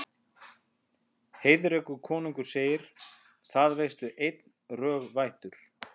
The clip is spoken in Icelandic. Heiðrekur konungur segir: Það veistu einn, rög vættur